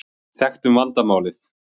Við þekktum vandamálið.